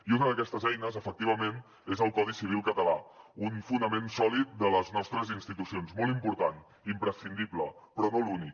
i una d’aquestes eines efectivament és el codi civil català un fonament sòlid de les nostres institucions molt important i imprescindible però no l’únic